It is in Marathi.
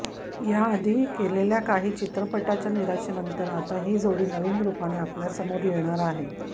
या आधी केलेल्या काही चित्रपटाच्या निराशेनंतर आता ही जोडी नवीन रूपाने आपल्यासमोर येणार आहे